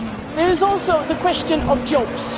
industries. There is also the